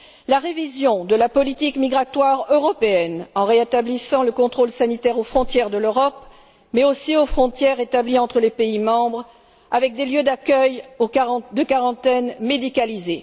Il convient de réviser la politique migratoire européenne, en rétablissant le contrôle sanitaire aux frontières de l'Europe, mais aussi aux frontières établies entre les pays membres, avec des lieux d'accueil de quarantaine médicalisée.